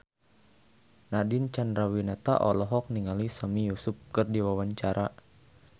Nadine Chandrawinata olohok ningali Sami Yusuf keur diwawancara